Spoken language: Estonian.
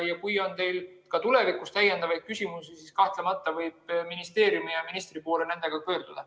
Kui teil on tulevikus küsimusi, siis kahtlemata võib ministeeriumi ja ministri poole nendega pöörduda.